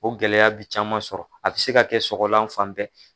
O gɛlɛya bi caman sɔrɔ a bi se ka kɛ sɔgɔlan fan bɛɛ